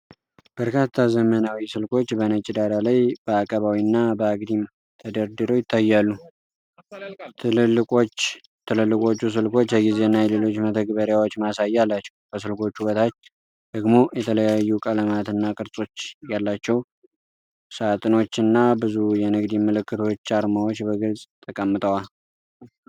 በርካታ ዘመናዊ ስልኮች በነጭ ዳራ ላይ በአቀባዊና በአግድም ተደርድረው ይታያሉ። ትልልቆቹ ስልኮች የጊዜና የሌሎች መተግበሪያዎች ማሳያ አላቸው። ከስልኮቹ በታች ደግሞ የተለያዩ ቀለማትና ቅርጾች ያላቸው ሳጥኖች እና ብዙ የንግድ ምልክቶች አርማዎች በግልጽ ተቀምጠዋል።